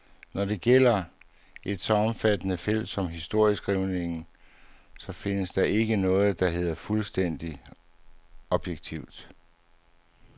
Når det gælder et så omfattende felt som historieskrivningen, så findes der ikke noget, der hedder fuldstændig objektivitet.